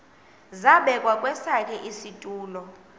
zabekwa kwesakhe isitulo